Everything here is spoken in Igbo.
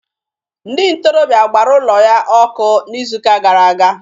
Ndị ntorobịa gbara ụlọ ya ọkụ n'izuụka gara aga